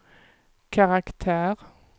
karaktär